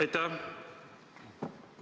Aitäh!